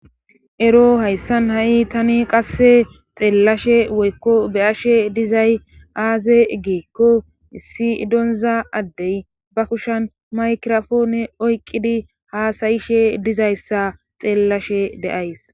ero hayssan ha7i tani qasse xeellashe woykko beyashe dizay aaze geekko issi idonza addey ba kushan maykrofoone oyqqidi haasayishe dizayssa xeellashe deays